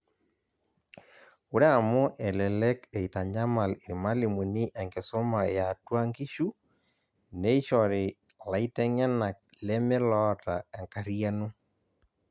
Ore amu elelek eitanyamal irmalimuni enkisuma yeatua nkishu, neishori laiteng'enak leme loota enkariyano